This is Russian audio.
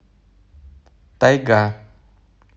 тайга